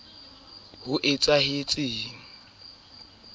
a ka ya mo fodisa